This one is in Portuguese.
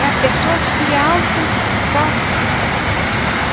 É a pessoa se auto toca.